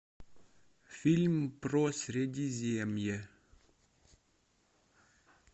фильм про средиземье